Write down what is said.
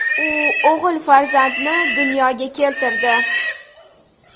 U o‘g‘il farzandni dunyoga keltirdi .